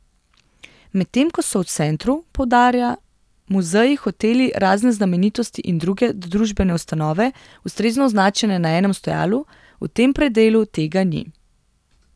Medtem ko so v centru, poudarja, muzeji, hoteli, razne znamenitosti in druge družbene ustanove ustrezno označene na enem stojalu, v tem predelu tega ni.